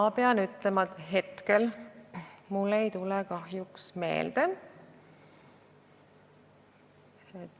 Ma pean ütlema, et hetkel ei tule mul kahjuks neid meelde.